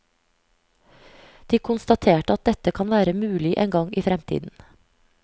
De konstaterte at dette kan være mulig en gang i fremtiden.